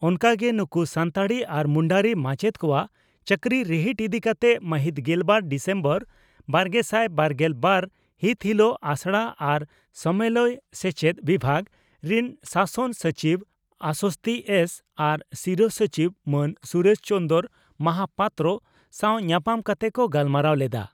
ᱚᱱᱠᱟ ᱜᱮ ᱱᱩᱠᱩ ᱥᱟᱱᱛᱟᱲᱤ ᱟᱨ ᱢᱩᱱᱰᱟᱹᱨᱤ ᱢᱟᱪᱮᱛ ᱠᱚᱣᱟᱜ ᱪᱟᱹᱠᱨᱤ ᱨᱤᱦᱤᱴ ᱤᱫᱤ ᱠᱟᱛᱮ ᱢᱟᱹᱦᱤᱛ ᱜᱮᱞᱵᱟᱨ ᱰᱤᱥᱮᱢᱵᱚᱨ ᱵᱟᱨᱜᱮᱥᱟᱭ ᱵᱟᱨᱜᱮᱞ ᱵᱟᱨ ᱦᱤᱛ ᱦᱤᱞᱚᱜ ᱟᱥᱲᱟ ᱟᱨ ᱥᱟᱢᱮᱞᱟᱭ ᱥᱮᱪᱪᱮᱫ ᱵᱤᱵᱷᱟᱜᱽ ᱨᱤᱱ ᱥᱟᱥᱚᱱ ᱥᱚᱪᱤᱵᱽ ᱟᱥᱚᱥᱛᱷᱤ ᱮᱥᱹᱹ ᱟᱨ ᱥᱤᱨᱟᱹ ᱥᱚᱪᱤᱵᱽ ᱢᱟᱱ ᱥᱩᱨᱮᱥ ᱪᱚᱱᱫᱽᱨᱚ ᱢᱟᱦᱟᱯᱟᱛᱨᱚ ᱥᱟᱣ ᱧᱟᱯᱟᱢ ᱠᱟᱛᱮ ᱠᱚ ᱜᱟᱞᱢᱟᱨᱟᱣ ᱞᱮᱫᱼᱟ ᱾